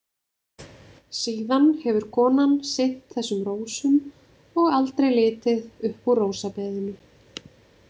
Síðan hefur konan sinnt þessum rósum og aldrei litið upp úr rósabeðinu.